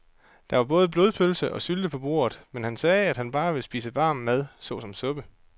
Der var både blodpølse og sylte på bordet, men han sagde, at han bare ville spise varm mad såsom suppe.